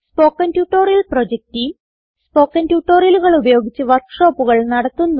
spoken tutorial project team spoken ട്യൂട്ടോറിയലുകൾ ഉപയോഗിച്ച് വർക്ക് ഷോപ്പുകൾ നടത്തുന്നു